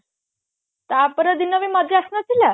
ତାପର ଦିନ ବି ମଜା ଆସିନଥିଲା